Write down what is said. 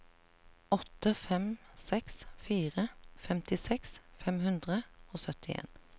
åtte fem seks fire femtiseks fem hundre og syttien